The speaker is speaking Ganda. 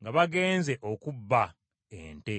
nga bagenze okubba (okunyaga) ente.